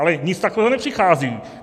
Ale nic takového nepřichází.